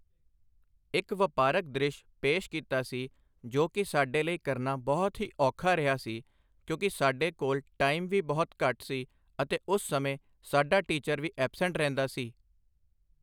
ਇੱਕ ਵਪਾਰਕ ਦ੍ਰਿਸ਼ ਪੇਸ਼ ਕੀਤਾ ਸੀ ਜੋ ਕਿ ਸਾਡੇ ਲਈ ਕਰਨਾ ਬਹੁਤ ਹੀ ਔਖਾ ਰਿਹਾ ਸੀ ਕਿਉਂਕਿ ਸਾਡੇ ਕੋਲ਼ ਟਾਈਮ ਵੀ ਬਹੁਤ ਘੱਟ ਸੀ ਅਤੇ ਉਸ ਸਮੇਂ ਸਾਡਾ ਟੀਚਰ ਵੀ ਐਬਸੈਂਟ ਰਹਿੰਦਾ ਸੀ